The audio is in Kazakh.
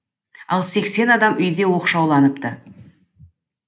ал сексен адам үйде оқшауланыпты